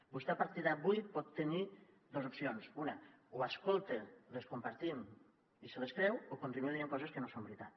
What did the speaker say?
vostè a partir d’avui pot tenir dos opcions una o escolta les compartim i se les creu o continua dient coses que no són veritat